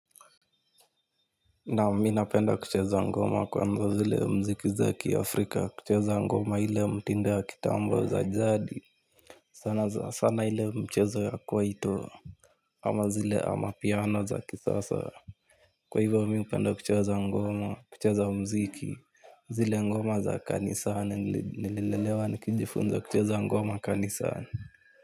Naam mimi napenda kuchezo ngoma kwanza zile muziki za kiafrika kucheza ngoma ile mtindo ya kitambo za jzadi sana sana ile mchezo ya kwaito. Ama zile ama piano za kisasa. Kwa hivyo mi hupenda kuchezo ngoma kuchezo muziki. Zile ngoma za kanisani nilelewa nikijifunza kucheza ngoma kanisani.